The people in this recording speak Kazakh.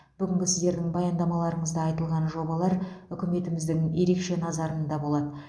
бүгінгі сіздердің баяндамаларыңызда айтылған жобалар үкіметіміздің ерекше назарында болады